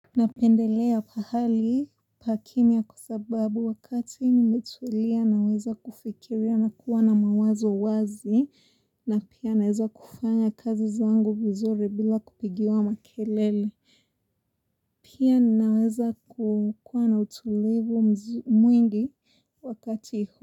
Napendelea pahali pakimya kwa sababu wakati nimetulia naweza kufikiria na kuwa na mawazo wazi na pia naweza kufanya kazi zangu vizuri bila kupigiwa makelele. Pia naweza kuwa na utulivu mwingi wakati huo.